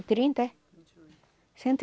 trinta é? cento